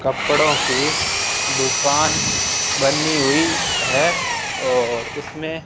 कपड़ों की दुकान बनी हुई है और उसमे--